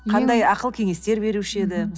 қандай акыл кеңестер беруші еді